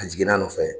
A jiginna a nɔfɛ